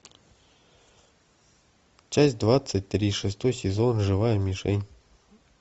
часть двадцать три шестой сезон живая мишень